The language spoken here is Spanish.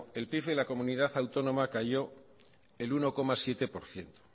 el pib en la comunidad autónoma cayó el uno coma siete por ciento